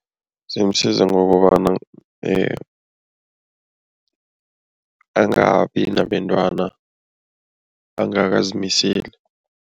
Zimsiza ngokobana angabi nabentwana angakazimiseli.